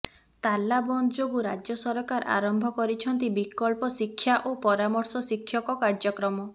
ତାଲାବନ୍ଦ ଯୋଗୁଁ ରାଜ୍ୟ ସରକାର ଆରମ୍ଭ କରିଛନ୍ତି ବିକଳ୍ପ ଶିକ୍ଷା ଓ ପରାମର୍ଶ ଶିକ୍ଷକ କାର୍ଯ୍ୟକ୍ରମ